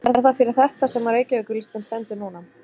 Er það fyrir þetta sem að Reykjavíkurlistinn stendur núna?